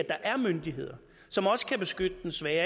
er myndigheder som også kan beskytte den svage